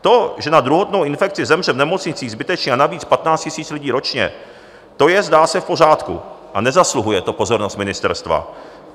To, že na druhotnou infekci zemře v nemocnicích zbytečně a navíc 15 000 lidí ročně, to je - zdá se - v pořádku a nezasluhuje to pozornost ministerstva.